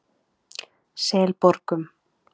Selborgum